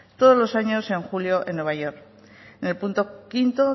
todos los años en julio en nueva york en el punto quinto